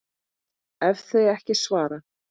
ef þau ekki svara